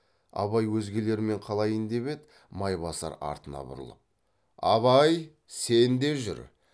абай өзгелермен қалайын деп еді майбасар артына бұрылып абай сен де жүр